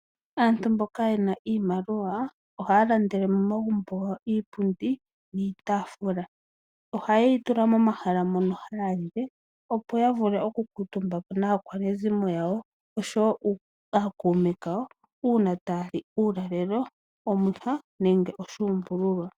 Aantu mboka yena iimaliwa ohaya landele momagumbo gawo iipundi niitafula, ohaye yitula momahala mono haya lile opo ya vulu okukutumba po naakwanezimo yawo oshowo ookume kawo uuna tali uulalelo , omwiha nenge oshumbululwa.